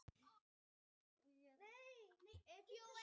Þetta er ekki sýningin heldur verður fótboltinn að halda áfram.